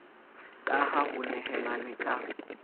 ka ha ho nehelanwe ka